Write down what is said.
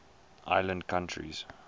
island countries